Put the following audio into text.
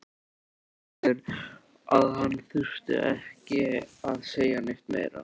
Segir að hann þurfi ekki að segja neitt meira.